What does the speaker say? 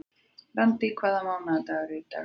Randý, hvaða mánaðardagur er í dag?